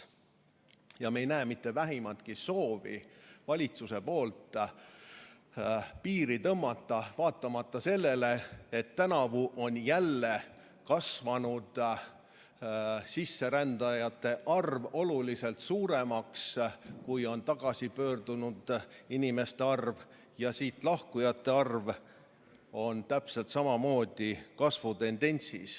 Me ei näe valitsuses mitte vähimatki soovi tõmmata piiri, vaatamata sellele et tänavu on sisserändajate arv jälle kasvanud oluliselt suuremaks, kui on tagasipöördunud inimeste arv, ja siit lahkujate arv on täpselt samamoodi kasvamas.